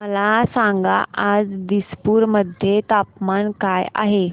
मला सांगा आज दिसपूर मध्ये तापमान काय आहे